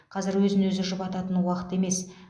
қазір өзін өзі жұбататын уақыт емес